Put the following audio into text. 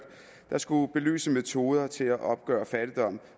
der skulle belyse metoder til at opgøre fattigdom